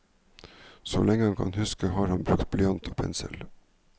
Så lenge han kan huske har han brukt blyant og pensel.